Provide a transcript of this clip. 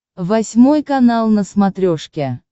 восьмой канал на смотрешке